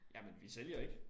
Jamen vi sælger ikke